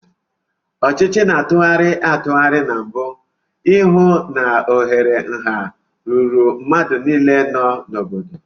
Ọchịchị na tụgharị atụgharị na mbu, I hụ na ohere nha ruru mmadụ niile nọ n'obodo.